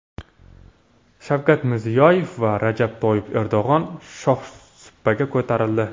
Shavkat Mirziyoyev va Rajab Toyyib Erdo‘g‘on shohsupaga ko‘tarildi.